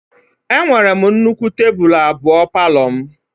Enwere m nnukwu tebụl abụọ palọ m